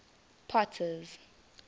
potter's